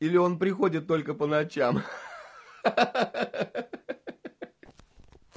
или он приходит только по ночам ха-ха-ха-ха